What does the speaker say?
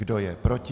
Kdo je proti?